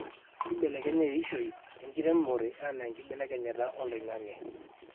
kibelekenya eishoi enkiremore enaa nkibelekenyat oloingange